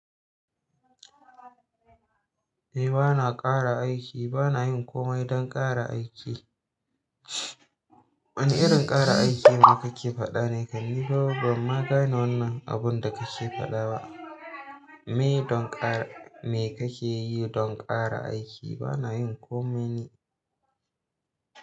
Ni bana ƙara aiki bana yin komai dan ƙara aiki. Wane irin ƙara aiki ne kake faɗa ne? Kai nifa ban ma gane wannan abun da kake faɗa ba. Me don ƙara, me kake yi don ƙara aiki? Bana yin komai ne.